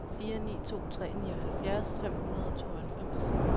fire ni to tre nioghalvfjerds fem hundrede og tooghalvfems